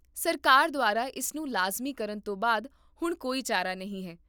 ਸਰਕਾਰ ਦੁਆਰਾ ਇਸ ਨੂੰ ਲਾਜ਼ਮੀ ਕਰਨ ਤੋਂ ਬਾਅਦ ਹੁਣ ਕੋਈ ਚਾਰਾ ਨਹੀਂ ਹੈ